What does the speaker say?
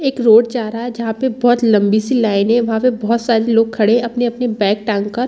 एक रोड जा रहा है जहाँ पे बोहोत लम्बी- सी लाइनें वहाँ पे बोहोत से लोग खड़े है अपनी-अपनी बैग टांग कर --